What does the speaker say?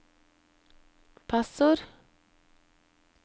passord